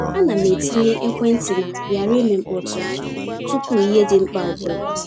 A na m-etinye ekwentị na ‘ghara ime mkpọtụ’ tupu ihe dị mkpa ọbụla.